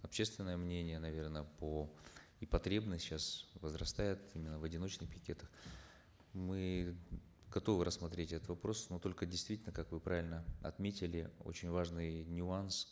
общественное мнение наверно по и потребность сейчас возрастает именно в одиночных пикетах мы готовы рассмотреть этот вопрос но только действительно как вы правильно отметили очень важный нюанс